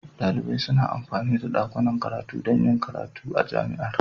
Dalibai suna amfani da dakunan karatu don yin karatu a Jami'ar.